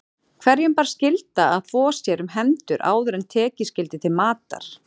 Hverjum bar skylda að þvo sér um hendur áður en tekið skyldi til matar.